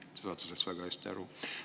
Te saate sellest väga hästi aru.